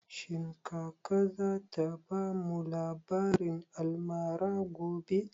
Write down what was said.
Shin kaka za ta bamu labarin almara gobe?